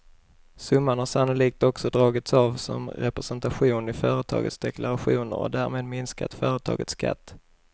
Summan har sannolikt också dragits av som representation i företagens deklarationer och därmed minskat företagens skatt.